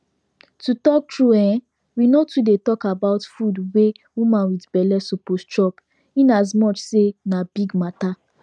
to talk tru[um]we no too dey talk about food wey woman wit belle suppose chop in as much say na big mata